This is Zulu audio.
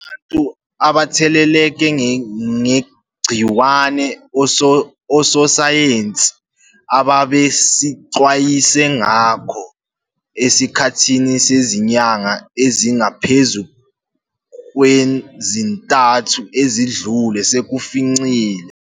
.abantu abatheleleke ngegciwane ososayensi ababesixwayise ngako esikhathini sezinyanga ezingaphezu kwezi-3 ezidlule sekusificile.